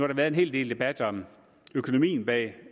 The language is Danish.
der været en hel del debat om økonomien bag